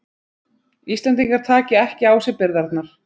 Íslendingar taki ekki á sig byrðarnar